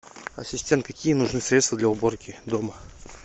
ассистент какие нужны средства для уборки дома